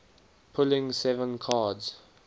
pulling seven cards